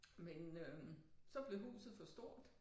Men øh så blev huset for stort